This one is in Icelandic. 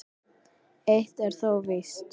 Eitt er þó víst.